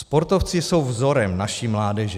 Sportovci jsou vzorem naší mládeže.